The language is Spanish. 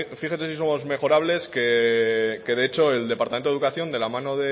fíjese si somos mejorables que de hecho el departamento de educación de la mano